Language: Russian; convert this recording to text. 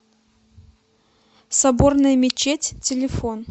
соборная мечеть телефон